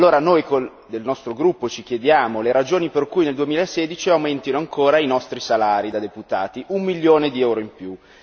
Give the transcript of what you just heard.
Allora, noi del nostro gruppo ci chiediamo le ragioni per cui nel 2016 aumentino ancora i nostri salari da deputati, un milione di euro in più.